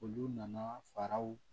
Olu nana faraw